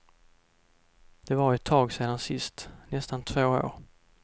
Det var ju ett tag sedan sist, nästan två år.